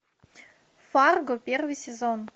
фарго первый сезон